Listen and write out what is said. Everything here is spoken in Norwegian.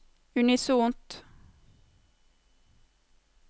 unisont